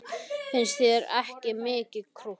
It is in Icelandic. Finnst þér hann ekki mikið krútt?